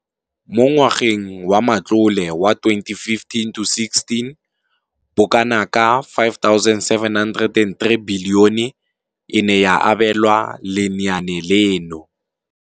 Mo ngwageng wa matlole wa 2015 to 16, bokanaka 5 703 bilione e ne ya abelwa lenaane leno.